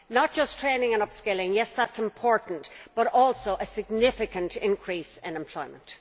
Not just training and up skilling yes, that's important but also a significant increase in employment.